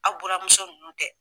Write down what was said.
Aw buranmuso nunnu kɛ.